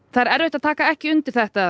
það er erfitt að taka ekki undir þetta